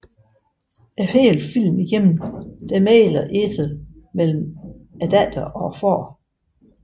Hele filmen igennem mægler Ethel mellem datter og far